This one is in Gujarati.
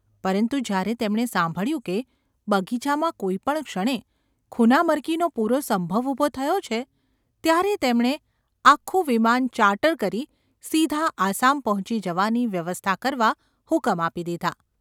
પરંતુ જ્યારે તેમણે સાંભળ્યું કે બગીચામાં કોઈ પણ ક્ષણે ખૂનામરકીનો પૂરો સંભવ ઊભો થયો છે ત્યારે તેમણે આખું વિમાન ‘ચાર્ટર’ કરી સીધા આસામ પહોંચી જવાની વ્યવસ્થા કરવા હુકમ આપી દીધા.